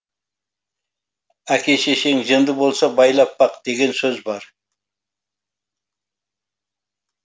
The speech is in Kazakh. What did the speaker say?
әке шешең жынды болса байлап бақ деген сөз бар